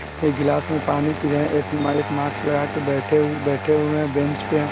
एक गिलास में पानी पी रहे हैं एक मा मार्क्स लगाकर बैठे-बैठे हुए हैं बेंच पे।